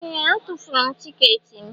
Ee! Atụfuru m tiketi m.